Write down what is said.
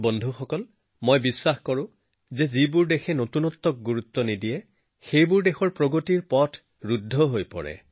বন্ধুসকল মই সদায় বিশ্বাস কৰি আহিছো যে উদ্ভাৱনক মূল্য নিদিয়া দেশৰ উন্নয়ন স্তব্ধ হৈ যায়